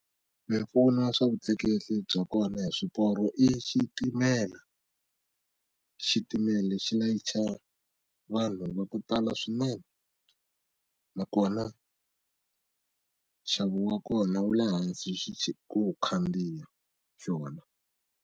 Mimpfuno ya swa vutleketli bya kona hi swiporo i xitimela xitimela xi layicha vanhu va ku tala swinene na kona nxavo wa kona wu le hansi ku khandziya xona.